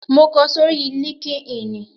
Mo kọ sórí líńki-inì